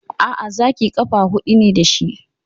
Aa, Zaki ƙafa hudu ne dashi